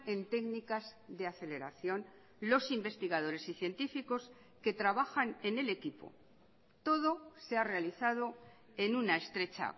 en técnicas de aceleración los investigadores y científicos que trabajan en el equipo todo se ha realizado en una estrecha